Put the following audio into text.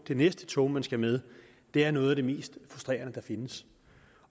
det næste tog man skal med er noget af det mest frustrerende der findes